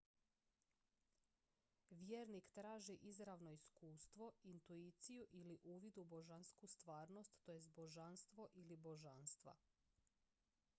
vjernik traži izravno iskustvo intuiciju ili uvid u božansku stvarnost tj božanstvo ili božanstva